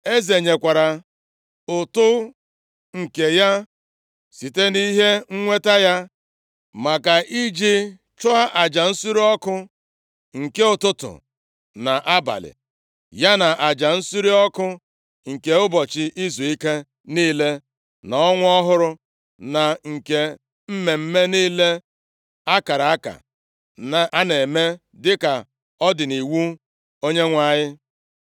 Eze nyekwara ụtụ nke ya site nʼihe nweta ya maka iji chụọ aja nsure ọkụ, nke ụtụtụ na abalị, ya na aja nsure ọkụ nke ụbọchị izuike niile na ọnwa ọhụrụ, na nke mmemme niile a kara aka a na-eme dịka ọ dị nʼiwu Onyenwe anyị.